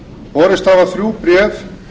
borist hafa þrjú bréf